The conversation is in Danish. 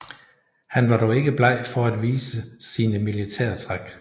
Han var dog ikke bleg for at vise sine militære træk